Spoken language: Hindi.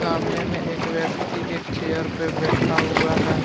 सामने में एक व्यक्ति एक चेयर पे बैठा हुआ है।